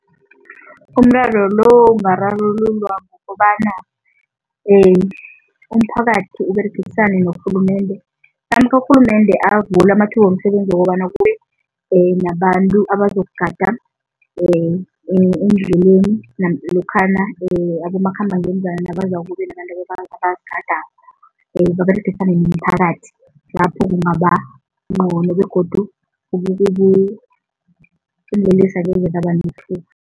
Umraro lo ungararululwa ngokobana umphakathi uberegisane norhulumende namkha urhulumende avule amathuba womsebenzi wokobana kube nabantu abazokugada endleleni lokhana abomakhambangendlwana nabezako kube nabantu baberegisane nomphakathi, lapho kungabangcono begodu